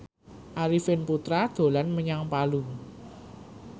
Arifin Putra dolan menyang Palu